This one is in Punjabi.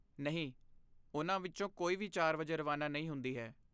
ਨਹੀਂ, ਉਨ੍ਹਾਂ ਵਿੱਚੋਂ ਕੋਈ ਵੀ ਚਾਰ ਵਜੇ ਰਵਾਨਾ ਨਹੀਂ ਹੁੰਦੀ ਹੈ?